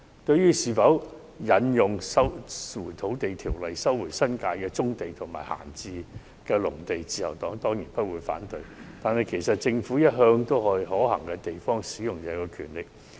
對於是否引用《收回土地條例》收回新界的棕地及閒置農地，自由黨當然不反對，但其實政府向來都對可行的地方行使這種權力。